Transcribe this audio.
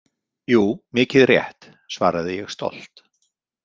Jú, mikið rétt, svaraði ég stolt.